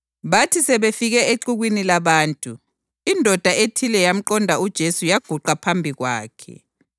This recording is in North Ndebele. Bathi sebefike exukwini labantu, indoda ethile yamqonda uJesu yaguqa phambi kwakhe.